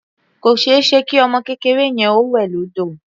Kò ṣeéṣe kí ọmọ kékeré yẹn ó wẹ̀ lódò.